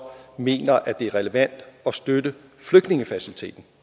mener at det er relevant at støtte flygtningefaciliteten